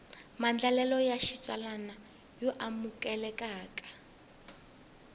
maandlalelo ya xitsalwana yo amukelekaka